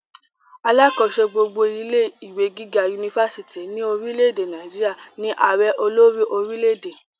alákòóso gbogbo ilé ìwé gíga unifásitì ní orile-èdè Nàìjíríà ní àrẹ olórí orilẹ-èdè